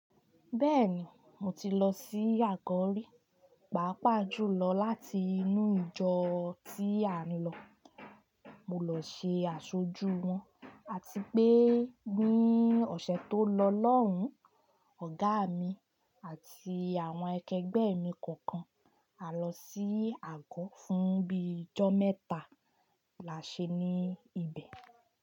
Bẹ́ẹ̀ni, mo ti lọ sí Àgọrí, pàápàá jùlọ láti inú ìjọ tí à ń lọ. Mo lọ ṣe àṣojú wọn àti pé ní ọ̀sẹ̀ tó lọ lọ́hùn, ọ̀gá mi àti àwọn akẹgbẹ́ mi kọ̀ọ̀kan a lọ sí Àgọ́ fún bíi ọjọ́ mẹ́ta là ṣe ní ibẹ̀